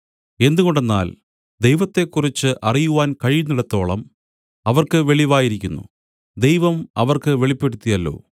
എന്തുകൊണ്ടെന്നാൽ ദൈവത്തെക്കുറിച്ച് അറിയുവാൻ കഴിയുന്നിടത്തോളം അവർക്ക് വെളിവായിരിക്കുന്നു ദൈവം അവർക്ക് വെളിപ്പെടുത്തിയല്ലോ